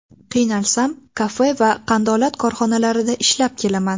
Qiynalsam, kafe va qandolat korxonalarida ishlab kelaman.